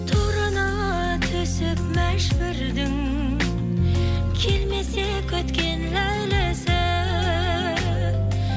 торына түсіп мәжбүрдің келмесе күткен ләйлісі